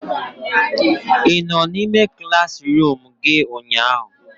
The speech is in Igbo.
Ị nọ n'ime klaasịruum gị ụnyaahụ?